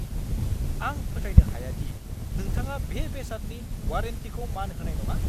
आं फोथायनो हाया दि नोंथाङा बे बेसादनि वारेन्टीखौ मान होनाय नङा।